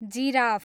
giraffe